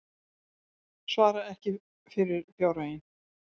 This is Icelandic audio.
Svarar ekki fyrir fjárhaginn